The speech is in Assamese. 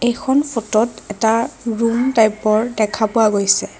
এইখন ফটোত এটা ৰুম টাইপৰ দেখা পোৱা গৈছে।